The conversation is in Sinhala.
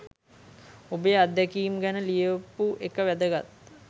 ඔබේ අත්දැකීම් ගැන ලියපු එක වැදගත්.